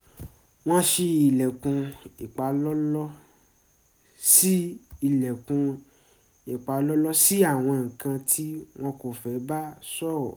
wọ́n ṣí ilẹ̀kùn ìpalọ́lọ́ ṣí ilẹ̀kùn ìpalọ́lọ́ sí àwọn nǹkan tí wọ́n kọ́ fẹ́ bá sọ̀rọ̀